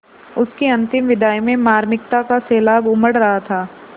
उसकी अंतिम विदाई में मार्मिकता का सैलाब उमड़ रहा था